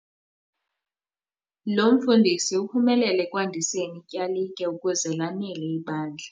Lo mfundisi uphumelele ekwandiseni ityalike ukuze lanele ibandla.